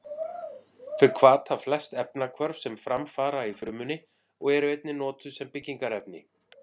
Þau hvata flest efnahvörf sem fram fara í frumunni og eru einnig notuð sem byggingarefni.